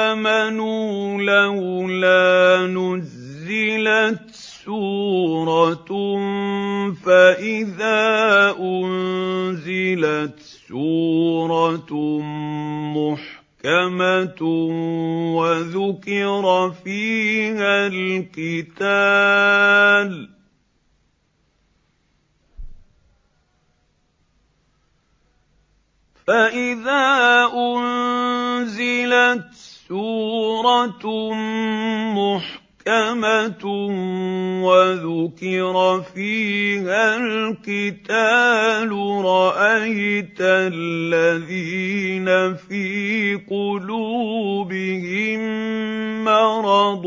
آمَنُوا لَوْلَا نُزِّلَتْ سُورَةٌ ۖ فَإِذَا أُنزِلَتْ سُورَةٌ مُّحْكَمَةٌ وَذُكِرَ فِيهَا الْقِتَالُ ۙ رَأَيْتَ الَّذِينَ فِي قُلُوبِهِم مَّرَضٌ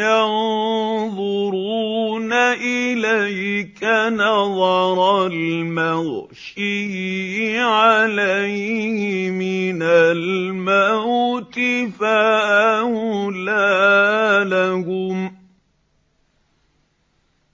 يَنظُرُونَ إِلَيْكَ نَظَرَ الْمَغْشِيِّ عَلَيْهِ مِنَ الْمَوْتِ ۖ فَأَوْلَىٰ لَهُمْ